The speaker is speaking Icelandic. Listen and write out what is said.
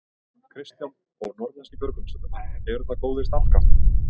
Kristján: Og norðlenskir björgunarsveitarmenn, eru það góðir starfskraftar?